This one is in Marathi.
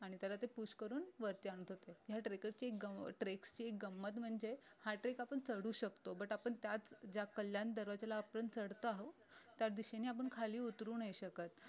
आणि त्याला ते push करून वरती आणत होते ह्या trackers ची treks ची गंमत म्हणजे हा trek आपण चढू शकतो but आपण त्याच ज्या कल्याण दरवाज्याला आपण चढतो आहोत त्या दिशेने आपण खाली उतरू नाही शकत